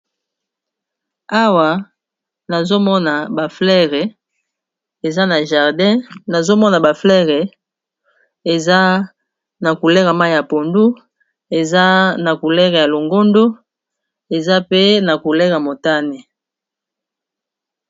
Awa nazomona ba fleur eza na jardin nazomona eza na couleur ya mayi ya pondu, ya longondo, eza pe na couleur motane.